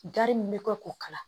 Gari min bɛ kɛ k'o kala